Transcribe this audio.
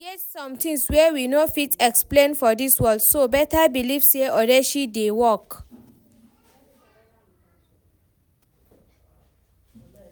E get some things wey we no fit explain for dis world so better believe say odeshi dey work